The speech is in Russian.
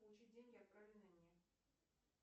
получить деньги отправленные мне